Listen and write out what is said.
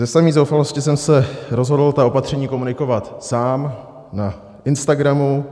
Ze samé zoufalosti jsem se rozhodl ta opatření komunikovat sám na Instagramu.